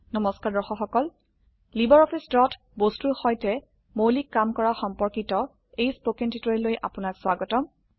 নমস্কাৰ দৰ্শক সকল লাইব্ৰঅফিছ ড্ৰত বস্তুৰ সৈতে মৌলিক কাম কৰা সম্পৰ্কিত এই স্পকেন টিউটোৰিয়েললৈ আপোনাক স্বাগতম